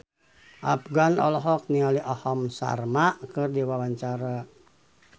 Afgan olohok ningali Aham Sharma keur diwawancara